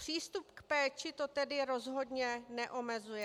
Přístup k péči to tedy rozhodně neomezuje.